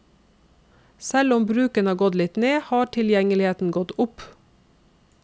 Selv om bruken har gått litt ned, har tilgjengeligheten gått opp.